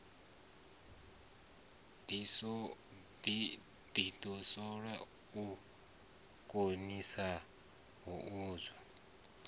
ḓidoswole na u ḓikanzwa ngazwo